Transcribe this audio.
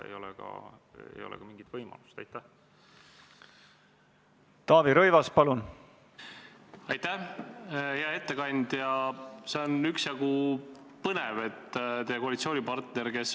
Käesoleva aasta 5. novembril toimus riigikaitse- ja väliskomisjoni ühine väljasõiduistung Kaitseväe peastaapi, kus Kaitseväe juhataja andis ülevaate missioonide piirkondades toimuvast.